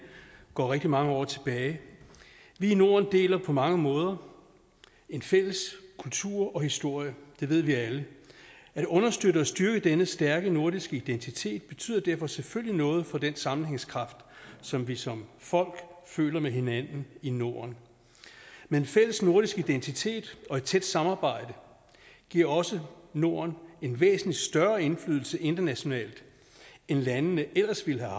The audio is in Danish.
går rigtig mange år tilbage vi i norden deler på mange måder en fælles kultur og historie det ved vi alle at understøtte og styrke denne stærke nordiske identitet betyder derfor selvfølgelig noget for den sammenhængskraft som vi som folk føler med hinanden i norden men en fælles nordisk identitet og et tæt samarbejde giver også norden en væsentlig større indflydelse internationalt end landene ellers ville have